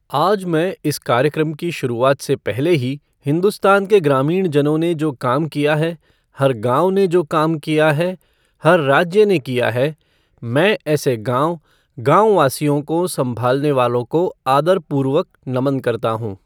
आज मैं इस कार्यक्रम की शुरुवात से पहले ही हिंदुस्तान के ग्रामीणजनों ने जो काम किया है, हर गाँव ने जो काम किया है, हर राज्य ने किया है, मैं ऐसे गाँव, गाँव वासियों को सँभालने वालों को आदर पूर्वक नमन करता हूं!